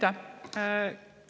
Aitäh!